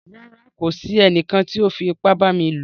Rárá, kò sí ènìkàn tí o fí ìpà bá mi lọ.